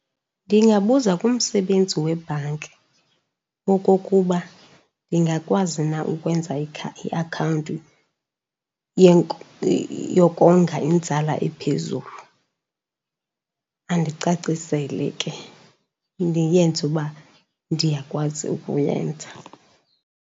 Ndingabuza kumsebenzi webhanki okokuba ndingakwazi na ukwenza iakhawunti yokonga inzala ephezulu. Andicacisele ke, ndiyenze uba ndiyakwazi ukuyenza.